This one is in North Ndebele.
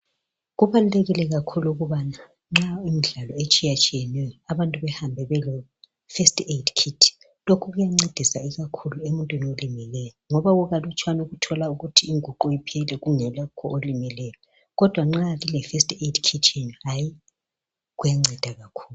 Kubalulekile kakhulu ukubana nxa kulemidlalo etshiyetshiyeneyo abantu behambe beleFirst Aid Kit. Lokhu kuyancedisa ikakhulu emuntwini olimeleyo ngoba kukalutshwana ukuthola ukuthi inguqu iphele kungekho olimeleyo kodwa nxa lileFirst Aid Kit yenu hayi kuyanceda kakhulu.